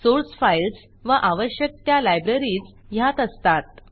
source files व आवश्यक त्या लायब्ररीज ह्यात असतात